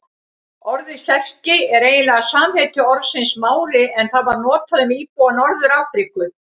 Orðið Serki er eiginlega samheiti orðsins Mári en það var notað um íbúa Norður-Afríku.